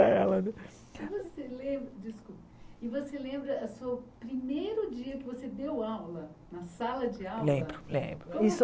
Para ela né E você lembra e você lembra o seu primeiro dia que você deu aula na sala de aula? Lembro lembro isso